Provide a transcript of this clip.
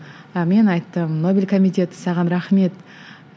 ы мен айттым нобель комитеті саған рахмет